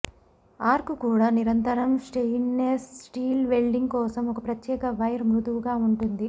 arc కూడా నిరంతరం stainless steel welding కోసం ఒక ప్రత్యేక వైర్ మృదువుగా ఉంటుంది